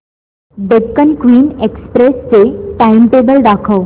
Deccan Queen Express चे timetable दाखव